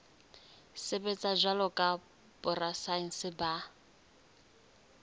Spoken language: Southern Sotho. sebetsa jwalo ka borasaense ba